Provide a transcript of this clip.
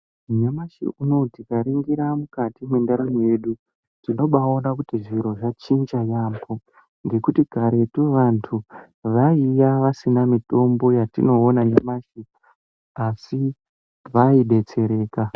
Nyamashi unowu tikaringira mukati mwebdaramo yedu tinobaa ona kuti zviro zvachinja yaampo ngekuti karetu vantu vaiya vasina mitombo yatinoona nyamashi asi vaidetsereka.